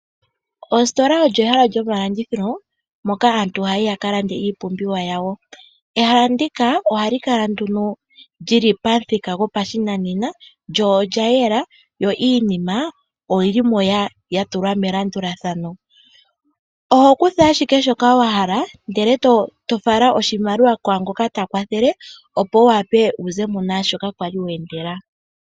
Ositola olyo ehala lyomalandithilo moka aantu haya yi ya ka lande iipumbiwa yawo. Ehala ndika ohali kala nduno lyili pamuthika gopashinanena lyo olya yela yo iinima oyili mo ya tulwa melandulathano, oho kutha ashike shoka wahala ndele to fala oshimaliwa kwaangoka ta kwathele, opo Wu wape wu ze mo naashoka kwali weendela.